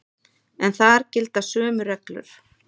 En þar gilda sömu reglur.